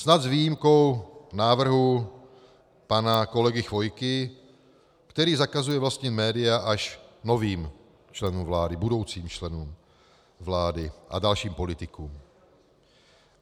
Snad s výjimkou návrhu pana kolegy Chvojky, který zakazuje vlastnit média až novým členům vlády, budoucím členům vlády a dalším politikům.